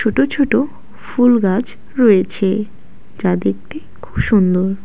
ছোট ছোট ফুলগাছ রয়েছে যা দেখতে খুব সুন্দর।